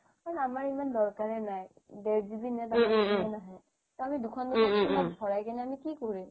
আমাৰ ইমান দৰকাৰে নাই দেৰ GB ভৰাই কিনে আমি কি কৰিম